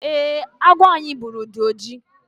eeh, agwọ anyị gburu dị oji